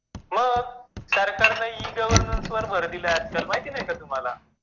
मग सरकारनी e -governance वर भर दिला आहे आजकाल महित नाही का तुम्हाला?